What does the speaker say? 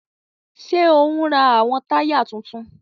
Ṣe o n rá awọn taya títún?